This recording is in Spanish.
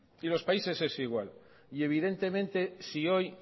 y los países es igual y evidentemente si hoy